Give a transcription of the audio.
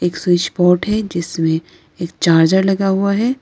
एक switch board है जिसमें एक चार्जर लगा हुआ है।